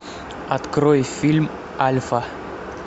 открой фильм альфа